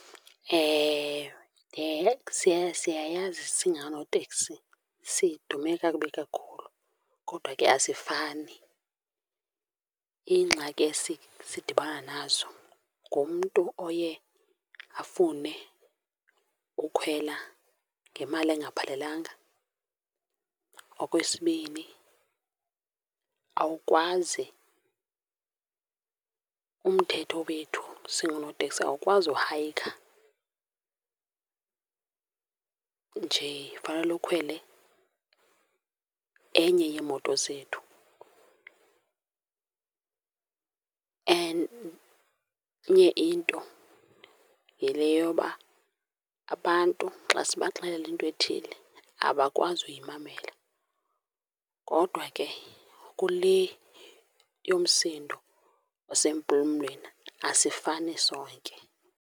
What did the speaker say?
Ewe, siyayazi singoonoteksi sidume kakubi kakhulu kodwa ke asifani. Iingxaki esidibana nazo ngumntu oye afune ukhwela ngemali engaphelelanga. Okwesibini awukwazi, umthetho wethu singoonoteksi awukwazi uhayikha njee, fanele ukhwele enye yeemoto zethu. Enye into yile yoba abantu xa sibaxelele into ethile abakwazi uyimamela kodwa ke kule yomsindo osempumlweni, asifani sonke.